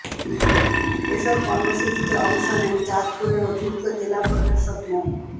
এসব কর্মসূচিতে অংশ নেন চাঁদপুরের অতিরিক্ত জেলা প্রশাসক মো